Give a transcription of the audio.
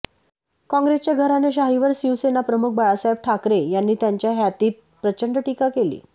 काँग्रेसच्या घराणेशाहीवर शिवसेनाप्रमुख बाळासाहेब ठाकरे यांनी त्यांच्या हयातीत प्रचंड टीका केली